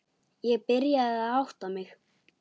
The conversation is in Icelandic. Ég byrjaði að átta mig.